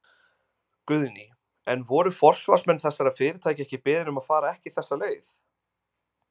Guðný: En voru forsvarsmenn þessara fyrirtækja ekki beðin um að fara ekki þessa leið?